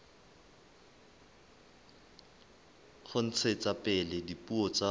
ho ntshetsa pele dipuo tsa